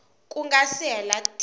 ku nga si hela tin